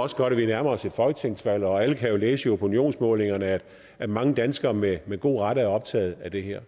også godt at vi nærmer os et folketingsvalg og alle kan jo læse i opinionsmålingerne at mange danskere med med god ret er optaget af det her